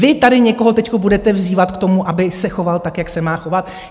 Vy tady někoho teď budete vzývat k tomu, aby se choval tak, jak se má chovat?